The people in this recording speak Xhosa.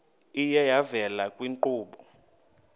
iye yavela kwiinkqubo